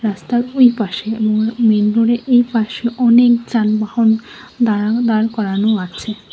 রাস্তার ওইপাশে মোর মেন রোডের এইপাশে অনেক যানবাহন দাঁড়ানো দাঁড় করানো আছে।